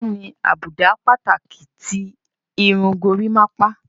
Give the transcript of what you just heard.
Kí ni àbùdá pàtàkì ti irun gorímápá?